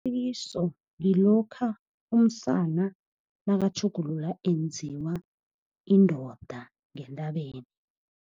ngilokha umsana nakutjhugululwa enziwa indoda ngentabeni.